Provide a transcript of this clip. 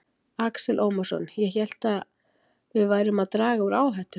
Axel Ómarsson: Ég hélt, ég hélt að við værum að draga úr áhættu?